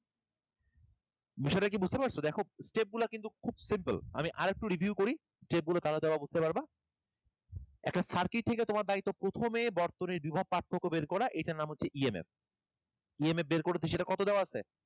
বিষয়টা কি বুঝতে পারছো দেখো step গুলো কিন্তু খুব simple আমি আরেকটু review করি step গুলা তাহলে বুঝতে পারবা একটা circuit থেকে তোমার দায়িত্ব প্রথমে বর্তনীর বিভব পার্থক্য বের করা এটার নাম হচ্ছে EMF, EMF বের করেছি সেটা কত দেওয়া আছে